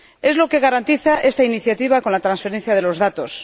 Es lo que garantiza esta iniciativa con la transferencia de los datos.